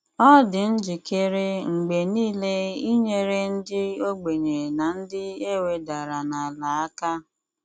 Ọ dị njikere mgbe nile inyere ndị ogbenye na ndị e wedara n’ala aka.